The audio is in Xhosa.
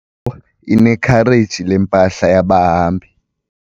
inekhareji lempahla yabahambi.